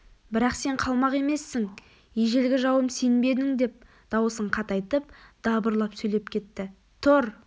бірақ сен қалмақ емессің ежелгі жауым сен бе едің деп даусын қатайтып дабырлап сөйлеп кетті тұр